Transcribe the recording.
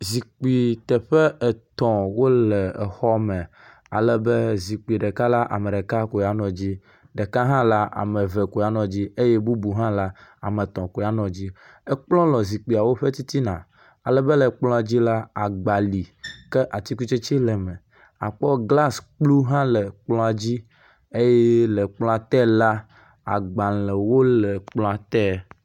Zikpui teƒe etɔ̃ wole exɔ me alebe zikpui ɖeka la, ame ɖeka ko anɔ dzi, ɖeka hã la ame eve koe anɔ dzi, eye bubu ha la ame etɔ̃ koe anɔ dzi. Ekplɔ le zikpuiawo ƒe titina alebe le kplɔawo dzi la, agba li, ke atikutsetse le me. Àkpɔ glas kplu hã le kplɔa dzi alebe le kplɔa te la, agbalẽwo le te.